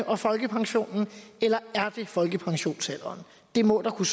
og folkepensionsalderen eller er det folkepensionsalderen det må der kunne